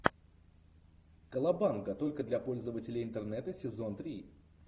колобанга только для пользователей интернета сезон три